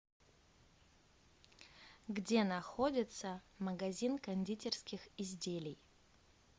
где находится магазин кондитерских изделий